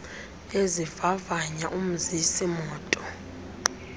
ezivavanya umzisi moto